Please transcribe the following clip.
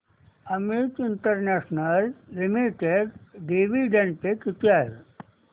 Amit international limited dividend pay किती आहे